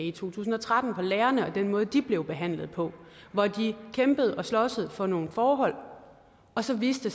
i to tusind og tretten for lærerne og den måde de blev behandlet på hvor de kæmpede og sloges for nogle forhold og så viste